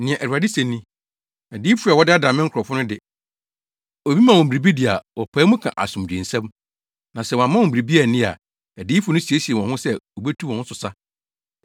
Nea Awurade se ni: “Adiyifo a wɔdaadaa me nkurɔfo no de, obi ma wɔn biribi di a wɔpae mu ka asomdwoe nsɛm, na sɛ wɔamma wɔn biribi anni a, adiyifo no siesie wɔn ho sɛ wobetu wɔn so sa.